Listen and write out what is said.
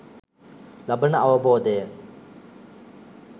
ලබන අවබෝධය